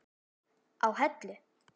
á Hellu.